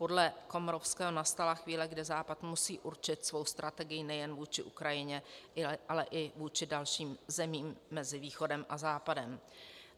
Podle Komorowského nastala chvíle, kdy západ musí určit svou strategii nejen vůči Ukrajině, ale i vůči dalším zemím mezi Východem a Západem.